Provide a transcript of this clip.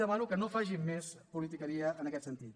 demano que no facin més politiqueria en aquest sentit